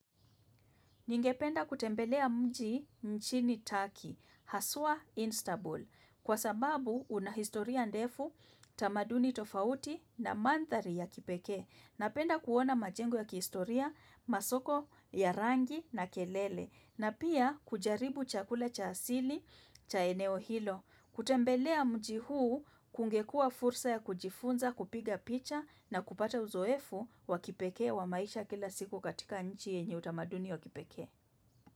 Ningependa kutembelea mji nchini Turkey, haswa Istanbul, kwa sababu una historia ndefu, tamaduni tofauti na mandhari ya kipekee. Napenda kuona majengo ya kihistoria, masoko ya rangi na kelele, na pia kujaribu chakula cha asili, cha eneo hilo. Kutembelea mji huu kungekua fursa ya kujifunza kupiga picha na kupata uzoefu wa kipekee wa maisha kila siku katika nchi yenye utamaduni wa kipekee.